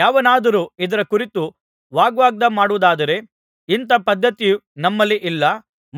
ಯಾವನಾದರೂ ಇದರ ಕುರಿತು ವಾಗ್ವಾದ ಮಾಡುವುದಾದರೆ ಇಂಥ ಪದ್ಧತಿ ನಮ್ಮಲ್ಲಿ ಇಲ್ಲ